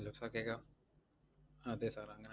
Hello sir കേക്കാവോ? അതെ sir അങ്ങ~